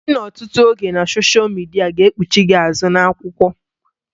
Ịnọ ọtụtụ oge na soshia midia ga kpuchie gị azụ na-akwụkwọ